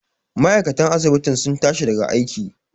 ma'aikatan asibitin sun tashi daga aiki